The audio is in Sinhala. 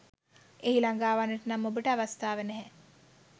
එහි ලගාවන්නට නම් ඔබට අවස්ථාව නැහැ.